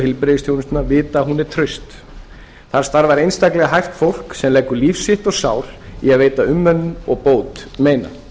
heilbrigðisþjónustunnar vita að hún er traust þar starfar einstaklega hæft fólk sem leggur líf sitt og sál í að veita umönnun og bót meina